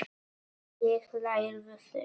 En lærðu fyrst.